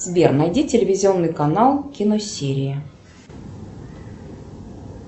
сбер найди телевизионный канал киносерия